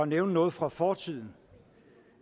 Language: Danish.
nævne noget fra fortiden